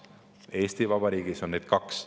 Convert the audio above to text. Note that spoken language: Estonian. Eesti Vabariigis on neid kaks.